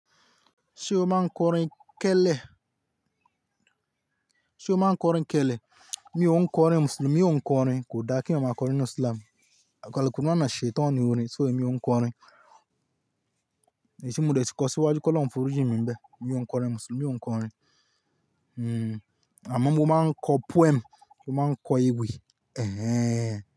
Ṣé o máa ń kọ orin kẹ́lẹ̀? Sé o máa ń kọrin kẹ̀lẹ̀? Mi ò ń kọrin, Mùsùlùmí ò ń kọ orin. Kò dára kí èèyàn máa kọrin inú Islam. Àkọ́lé kùnú náà ni Shaitani orin, so èmi ò ń kọ orin. Èyí tí mo dẹ̀ ti kọ síwájú kí ọlọ́hun forí jìn mì ńbẹ̀. Mi ò ń kọ orin Mùsùlùmí, mi ò ń kọ orin. Hmm, àmọ́ mo máa ń kọ poem, mo máa ń kọ ewì. Ẹ̀hẹ́n.